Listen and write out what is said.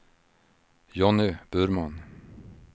Jonny Burman